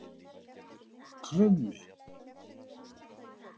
Krummi